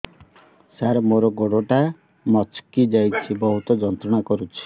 ସାର ମୋର ଗୋଡ ଟା ମଛକି ଯାଇଛି ବହୁତ ଯନ୍ତ୍ରଣା କରୁଛି